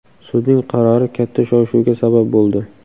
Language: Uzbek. Sudning qarori katta shov-shuvga sabab bo‘ldi.